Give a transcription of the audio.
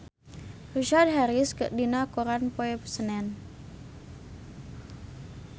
Richard Harris aya dina koran poe Senen